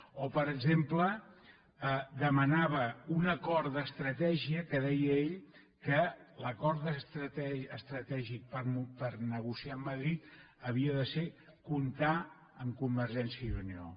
o per exemple demanava un acord d’estratègia que deia ell que l’acord estratègic per negociar amb madrid havia de ser comptar amb convergència i unió